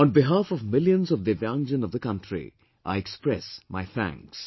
On behalf of millions of Divyangjan of the country I express my thanks